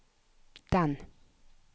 den